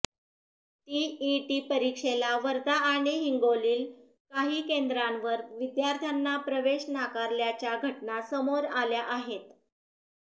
TET परीक्षेला वर्धा आणि हिंगोलील काही केंद्रांवर विद्यार्थ्यांना प्रवेश नाकारल्याच्या घटना समोर आल्या आहेत